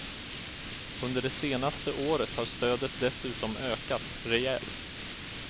Under det senaste året har stödet dessutom ökat rejält.